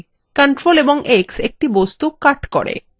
ctrl + x একটি বস্তু cut দেয়